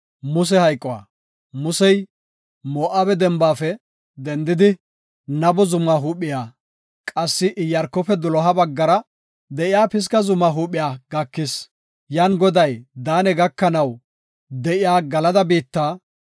Musey Moo7abe dembaafe dendidi, Nabo zuma huuphiya, qassi Iyaarkofe doloha baggara de7iya Pisga zuma huuphiya gakis. Yan Goday Daane gakanaw de7iya Galada biitta,